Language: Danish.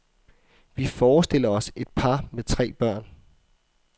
Vi forestiller os et par med tre børn.